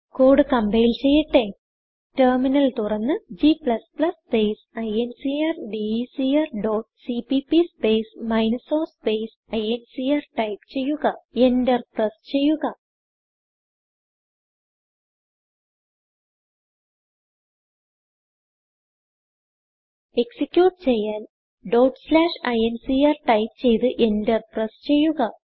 code compile ചെയ്യട്ടെ terminal തുറന്ന് g space ഇൻക്രഡെക്ർ dot CPP space minus o space incrടൈപ്പ് ചെയ്യുക എന്റർ പ്രസ് ചെയ്യുക എക്സിക്യൂട്ട് ചെയ്യാൻ incrടൈപ്പ് ചെയ്ത്എന്റർ പ്രസ് ചെയ്യുക